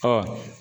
Ɔ